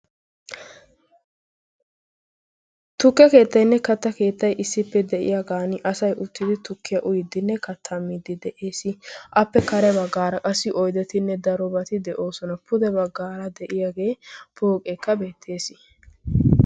Tukke keettaynne katta keettayi issippe de'iyaagan asay uttidi tukkiya uyiddinne katta miidi de'ees. Appe kare baggaara qassi oydetinne daro bati de'oosona. Pude baggaara de'iyaagee pooqekka beettees.